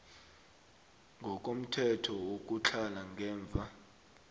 ngokomthetho wokutlhala ngemva